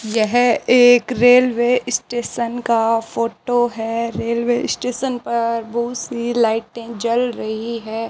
यह एक railway station का फोटो है रेलवे स्टेशन पर बहुत सी लाइटें जल रही है।